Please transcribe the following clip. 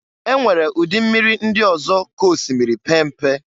E nwere ụdị mmiri ndị ọzọ ka osimiri pee mpe.